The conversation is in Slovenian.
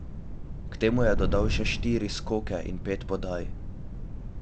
K temu je dodal še štiri skoke in pet podaj.